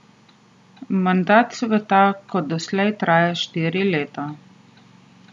Mandat sveta kot doslej traja štiri leta.